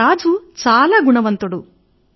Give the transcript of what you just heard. మన రాజు చాలా గుణవంతుడు